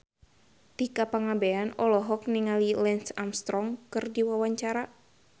Tika Pangabean olohok ningali Lance Armstrong keur diwawancara